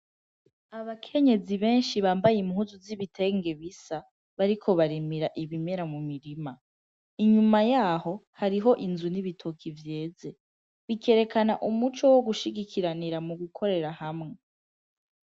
Abakenyezi benshi bambaye impuzu z'ibitenge bisa, bariko barimira ibimera mu mirima. Inyuma yaho, hariho inzu n'ibitoki vyeze, bikerekana umuco wo gushigikiranira mu gukorera hamwe.